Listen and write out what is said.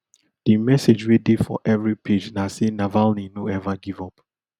di message wey dey for every page na say navalny no ever give up